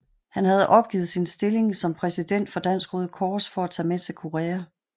Han havde opgivet sin stilling som præsident for Dansk Røde Kors for at tage med til Korea